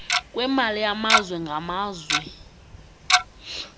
kwemali yamazwe ngamazwe